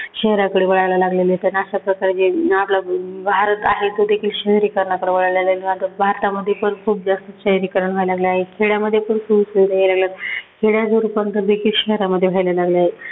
शहराकडे वळायला लागलेलेत आणि अशाप्रकारे जे अं आपला भारत आहे तो देखील शहरीकरणाकडे वळलेलाय. मात्र भारतामध्ये पण खूप जास्त शहरीकरण व्हायला लागलेलं आहे. खेड्यामध्ये पण खूप सोयी-सुविधा यायला लागल्यात. खेड्याचं रूपांतर देखील शहरामध्ये व्हायला लागलं आहे.